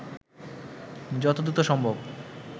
যত দ্রুত সম্ভব